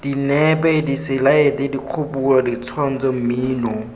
dinepe diselaete dikgopolo ditshwantsho mmino